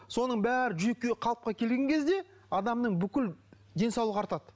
соның бәрі қалыпқа келген кезде адамның бүкіл денсаулығы артады